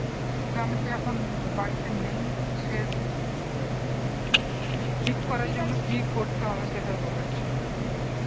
যে আমি তো এখন বাড়িতে নেই তো সেহেতু ঠিক করার জন্য কি করতে হবে সেটাই বলার জন্য